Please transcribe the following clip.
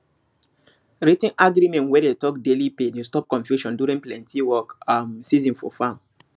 writ ten agreement wey talk daily pay dey stop confusion during plenty work um season for farm